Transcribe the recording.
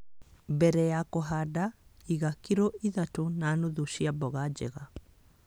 Mbere ya kũhanda, iga kilo ithatũ na nuthu cia mboga njega